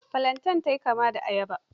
Filantain ta yi kama da ayaba.